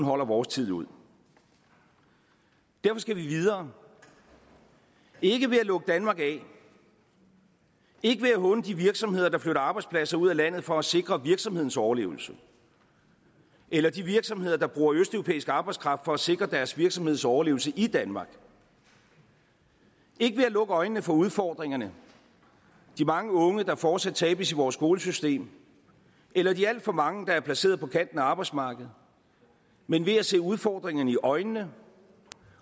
holder vores tid ud derfor skal vi videre ikke ved at lukke danmark af ikke ved at håne de virksomheder der flytter arbejdspladser ud af landet for at sikre virksomhedens overlevelse eller de virksomheder der bruger østeuropæisk arbejdskraft for at sikre deres virksomheds overlevelse i danmark ikke ved at lukke øjnene for udfordringerne de mange unge der fortsat tabes i vores skolesystem eller de alt for mange der er placeret på kanten af arbejdsmarkedet men ved at se udfordringerne i øjnene